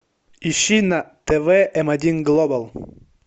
ищи на тв м один глобал